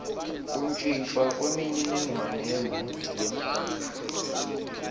kuntjintjwa kwemininingwane yemoti